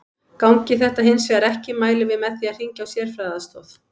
Gangi þetta hins vegar ekki mælum við með því að hringja á sérfræðiaðstoð.